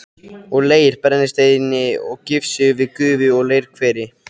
og leir, brennisteini og gifsi við gufu- og leirhveri.